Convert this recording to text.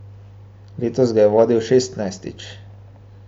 Letos ga je vodil šestnajstič.